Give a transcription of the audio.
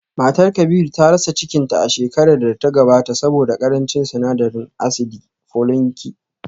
Matar Kabiru ta rasa cikinta a shekarar da ta gabata saboda karancin sinadarin asidi foliniki